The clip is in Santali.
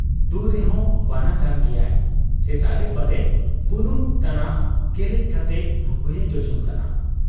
ᱫᱩᱨᱮᱦᱚᱸ ᱵᱟᱱᱟ ᱠᱟᱱ ᱜᱮᱭᱟᱭ ᱾ ᱥᱮᱛᱟᱜᱨᱮ ᱯᱟᱞᱮ ᱵᱩᱱᱩᱢ ᱛᱟᱱᱟᱜ ᱜᱮᱞᱮᱡ ᱠᱟᱛᱮ ᱵᱷᱩᱠᱩᱭᱮ ᱡᱚᱡᱚᱢ ᱠᱟᱱᱟ ᱾